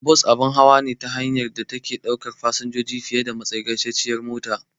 Bas abun hawa ne na hanya da take ɗaukar fasinjoji fiye da matsagaiciyar mota.